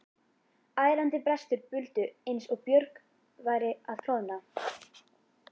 Ærandi brestir buldu eins og björg væru að klofna.